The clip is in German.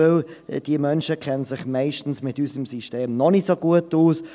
Diese Menschen kennen sich meistens mit unserem System noch nicht so gut aus.